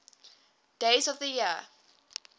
days of the year